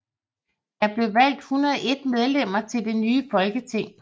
Der blev valgt 101 medlemmer til det nye folketing